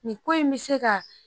Nin ko in me se ka